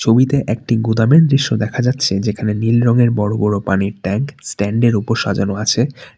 ছবিতে একটি গুদামের দৃশ্য দেখা যাচ্ছে যেখানে নীল রঙের বড়ো বড়ো পানির ট্যাংক স্ট্যান্ড -এর উপর সাজানো আছে।